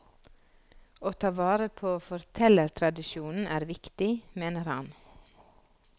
Å ta vare på fortellertradisjonen er viktig, mener han.